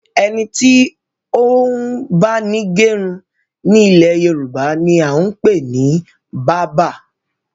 Ẹni tí ó ń báni gẹrun ni ilẹ̀ Yorùbá ni a ń pè ní báabà